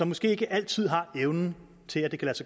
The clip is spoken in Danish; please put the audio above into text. måske ikke altid har evnen til at